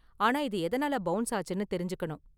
ஆனா இது எதனால பவுன்ஸ் ஆச்சுனு தெரிஞ்சுக்கணும்.